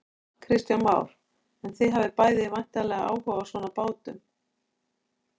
Kristján Már: En þið hafið bæði væntanlega áhuga á svona bátum?